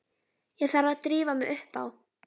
Ég þarf að drífa mig upp á